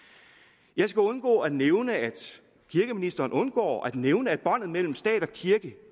jeg skal ikke undgå at nævne at kirkeministeren undgår at nævne at båndet mellem stat og kirke